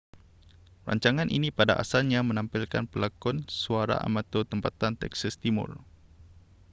rancangan ini pada asalnya menampilkan pelakon suara amatur tempatan texas timur